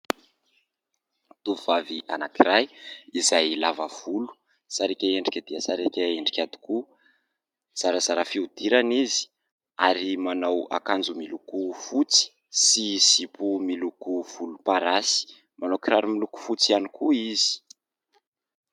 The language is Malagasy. Tovovavy anankiray izay lava volo, sarika endrika dia sarika endrika tokoa, zarazara fihodirana izy ary manao akanjo miloko fotsy sy zipo miloko volomparasy, manao kiraro miloko fotsy ihany koa izy.